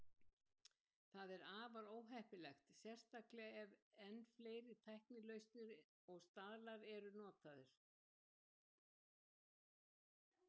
Það er afar óheppilegt, sérstaklega ef enn fleiri tæknilausnir og staðlar eru notaðir.